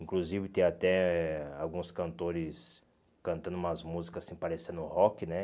Inclusive tem até alguns cantores cantando umas músicas assim parecendo rock, né?